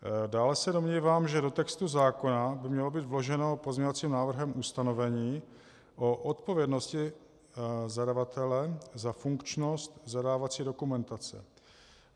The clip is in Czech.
Dále se domnívám, že do textu zákona by mělo být vloženo pozměňovacím návrhem ustanovení o odpovědnosti zadavatele za funkčnost zadávací dokumentace.